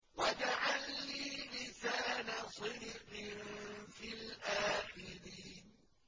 وَاجْعَل لِّي لِسَانَ صِدْقٍ فِي الْآخِرِينَ